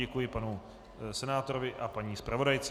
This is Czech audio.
Děkuji panu senátorovi a paní zpravodajce.